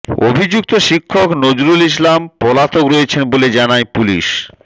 অভিযুক্ত শিক্ষক নজরুল ইসলাম পলাতক রয়েছেন বলে জানায় পুলিশ